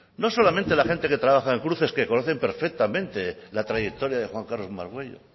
no solamente la gente que trabaja en cruces que conocen perfectamente la trayectoria de juan carlos margüello